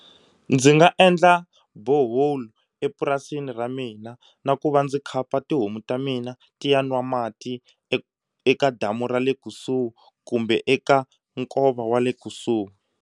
Ndzi nga endla borehole epurasini ra mina na ku va ndzi khapa tihomu ta mina ti ya nwa mati eka damu ra le kusuhi kumbe eka nkova wa le kusuhi.